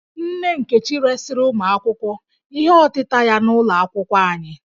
Nne Nkechi resịrị ụmụ akwụkwọ ihe ọtịta ya n'ụlọ akwụkwọ anyị